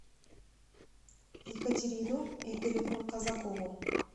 екатерину игоревну казакову